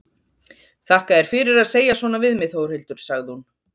Þakka þér fyrir að segja svona við mig Þórhildur, sagði hún.